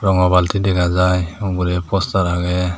rongo balti dega jai ugurey poster agey.